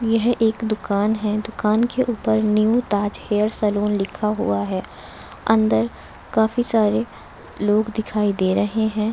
यह एक दुकान है दुकान के ऊपर न्यू ताज हेयर सलून लिखा हुआ है अंदर काफी सारे लोग दिखाई दे रहे हैं।